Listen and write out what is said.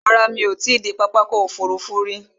Rárá, mí ò ti i dé pápá ọkò òfurufú rí.